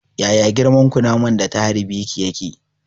Yaya girman kunaman da ta harbe ki yake?